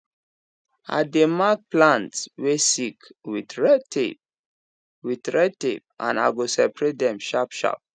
i dey mark plants way sick with red tape with red tape and i go separate dem sharp sharp